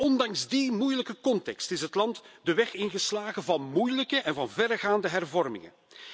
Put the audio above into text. Ondanks die moeilijke context is het land de weg ingeslagen van moeilijke en verregaande hervormingen.